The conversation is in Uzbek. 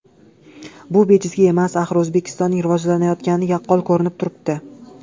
Bu bejizga emas, axir O‘zbekistonning rivojlanayotgani yaqqol ko‘rinib turibdi.